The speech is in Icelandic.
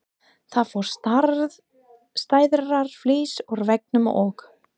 Það fór stærðar flís úr veggnum og